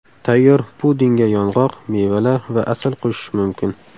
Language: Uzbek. Tayyor pudingga yong‘oq, mevalar va asal qo‘shish mumkin.